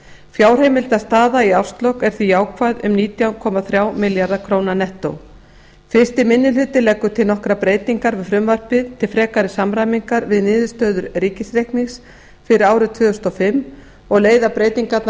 fjárheimildastaða í árslok er því jákvæð um nítján komma þrjá milljarða króna nettó fyrsti minni hluti leggur til nokkrar breytingar við frumvarpið til frekari samræmingar við niðurstöður ríkisreiknings fyrir árið tvö þúsund og fimm og leiða breytingarnar